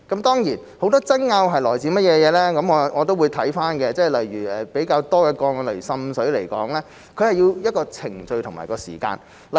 當然，很多爭拗是來自甚麼，我都會審視，例如比較多的個案涉及滲水，需要一個程序及時間處理。